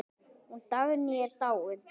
Hún Dagný er dáin.